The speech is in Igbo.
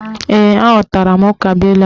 Ee, aghọtara m ukabuilu ahụ